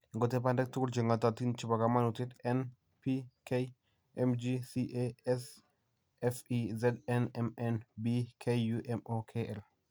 Ingotep bandek tuguuk che ng'ootiin che po kamanuutyet; N, P, K, Mg, Ca, S, Fe, Zn, Mn, B, Ku, Mo, Kl.